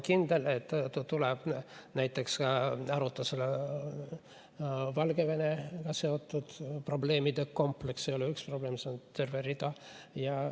Näiteks arutasime Valgevenega seotud probleemide kompleksi – see ei ole ainult üks probleem, vaid seal on neid terve rida.